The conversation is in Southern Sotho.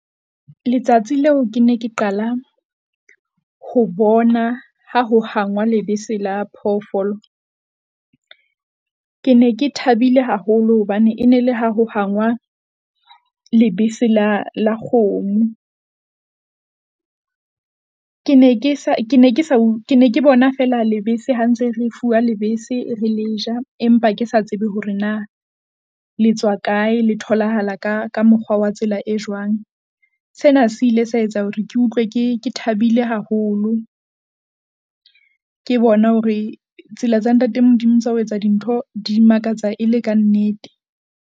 Letsatsi leo ke ne ke qala ho bona ha ho hangwa lebese la phofoolo. Ke ne ke thabile haholo hobane e ne le ha ho hangwa lebese la la kgomo. Ke ne ke sa ke ne ke sa ke ne ke bona feela lebese ha ntse re fuwa lebese, re le ja, empa ke sa tsebe hore na le tswa kae, le tholahala ka ka mokgwa wa tsela e jwang. Sena se ile sa etsa hore ke utlwe ke, ke thabile haholo. Ke bona hore tsela tsa Ntate Modimo tsa ho etsa dintho di makatsa e le kannete.